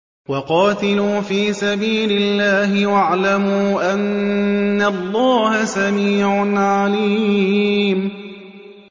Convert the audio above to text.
وَقَاتِلُوا فِي سَبِيلِ اللَّهِ وَاعْلَمُوا أَنَّ اللَّهَ سَمِيعٌ عَلِيمٌ